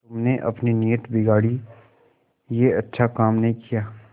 तुमने अपनी नीयत बिगाड़ी यह अच्छा काम नहीं किया